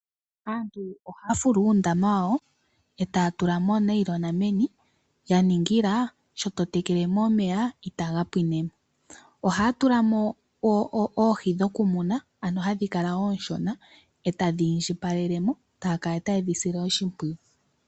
Aantu ohaya fulu uundama wawo etaya tula mo oonayilona neni. Yaningila sho to tekele mo omeya itaga pwine mo. Ohaya tula mo oohi dhoku muna ano hadhi kala oonshona eta dhi indjipala etaya tayedhi sile oshimpwiyu.